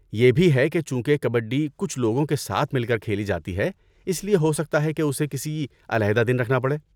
یہ بھی ہے کہ چونکہ کبڈی کچھ لوگوں کے ساتھ مل کر کھیلی جاتی ہے اس لیے ہو سکتا ہے کہ اسے کسی علیحدہ دن رکھنا پڑے۔